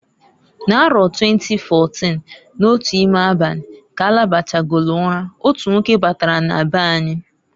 N'aro 2014, n'otu ime abani, k'alabachagolu ura, otu nwoke batara na beanyi.